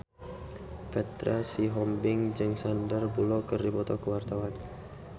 Petra Sihombing jeung Sandar Bullock keur dipoto ku wartawan